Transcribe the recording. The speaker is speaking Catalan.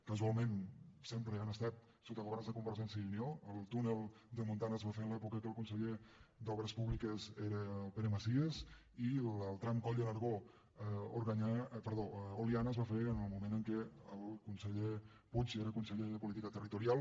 casualment sempre han estat sota governs de convergència i unió el túnel de montan es va fer en l’època en què el conseller d’obres públiques era el pere macias i el tram coll de nargó oliana es va fer en el moment en què el conseller puig era conseller de política territorial